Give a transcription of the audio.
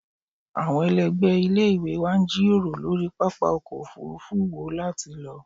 Awọn ẹlẹgbẹ ile-iwe wa n jiroro lori papa ọkọ ofurufu wo lati Lọ